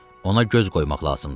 Ona göz qoymaq lazımdır.